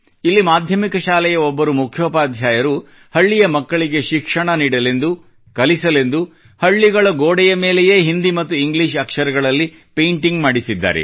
ಇಲ್ಲಿ ಮಾಧ್ಯಮಿಕ ಶಾಲೆಯ ಒಬ್ಬರು ಮುಖ್ಯೋಪಾಧ್ಯಾಯರು ಹಳ್ಳಿಯ ಮಕ್ಕಳಿಗೆ ಶಿಕ್ಷಣ ನೀಡಲೆಂದು ಕಲಿಸಲೆಂದು ಹಳ್ಳಿಗಳ ಗೋಡೆಗಳ ಮೇಲೆಯೇ ಹಿಂದಿ ಮತ್ತು ಇಂಗ್ಲಿಷ್ ಅಕ್ಷರಗಳಲ್ಲಿ ಪೇಂಟಿಂಗ್ ಮಾಡಿಸಿದ್ದಾರೆ